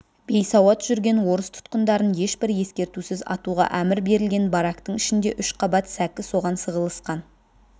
бейсауат жүрген орыс тұтқындарын ешбір ескертусіз атуға әмір берілген барактың ішінде үш қабат сәкі соған сығылысқан